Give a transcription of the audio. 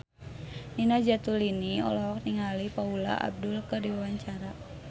Nina Zatulini olohok ningali Paula Abdul keur diwawancara